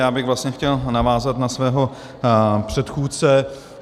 Já bych vlastně chtěl navázat na svého předchůdce.